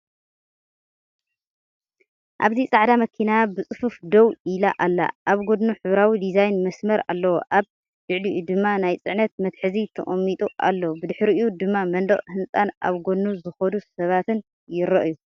ኣብዚ ጻዕዳ መኪና ብጽፉፍ ደው ኢላ ኣላ። ኣብ ጎድኑ ሕብራዊ ዲዛይን መስመር ኣለዎ፣ ኣብ ልዕሊኡ ድማ ናይ ጽዕነት መትሓዚ ተቐሚጡ ኣሎ። ብድሕሪኡ ድማ መንደቕ ህንጻን ኣብ ጎድኑ ዝኸዱ ሰባትን ይረኣዩ።